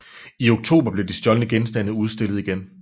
I oktober blev de stjålne genstande udstillet igen